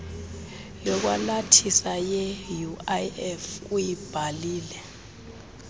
yokwalathisa yeuif uyibhalile